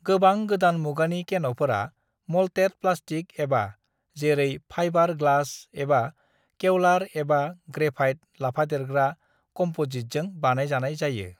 गोबां गोदान मुगानि केन'फोरा म'ल्डेड प्लास्टिक एबा जेरै फाइबार ग्लास एबा केवलार एबा ग्रेफाइट लाफादेरग्रा कम्प'जिटजों बानायजानाय जायो।